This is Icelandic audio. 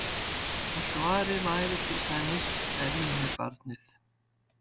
Og svarið væri til dæmis: Er ég með barnið?